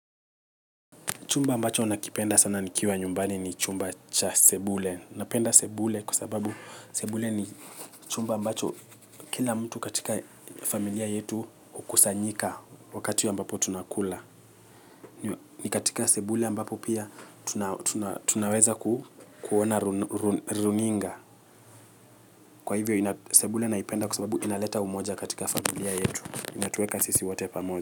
Chumba ambacho ninakipenda sana nikiwa nyumbani ni chumba cha sebule. Napenda sebule kwa sababu sebule ni chumba ambacho kila mtu katika familia yetu hukusanyika wakati ya ambapo tunakula. Ni katika sebule ambapo pia tunaweza kuona runinga. Kwa hivyo, sebule naipenda kwa sababu inaleta umoja katika familia yetu. Inatuweka sisi wote pamoja.